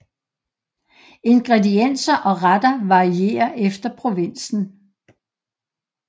Ingredienser og retter varierer efter provinsen